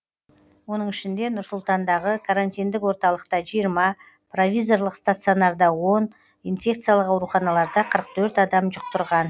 оның ішінде нұр сұлтандағы карантиндік орталықта жиырма провизорлық стационарда он инфекциялық ауруханаларда қырық төрт адам жұқтырған